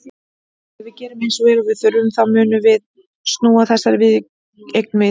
Ef við gerum eins vel og við þurfum þá munum við snúa þessari viðureign við.